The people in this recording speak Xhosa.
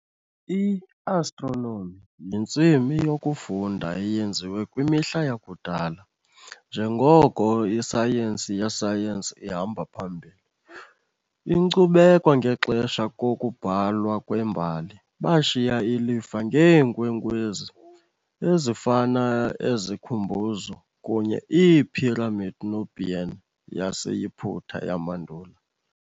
I-Astronomy yintsimi yokufunda eyenziwa kwimihla yakudala njengoko isayensi yesayensi ihamba phambili. Inkcubeko ngexesha kokubhalwa kwembali, bashiya ilifa ngeenkwenkwezi, ezifana ezikhumbuzo kunye iiphiramidi Nubian yaseYiputa yamandulo.